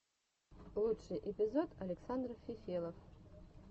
лучший эпизод александр фефелов